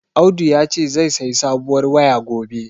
Audu yace zai sayi sabuwar waya gobe.